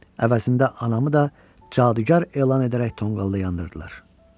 Əvəzində anamı da cadugar elan edərək tonqalda yandırdılar.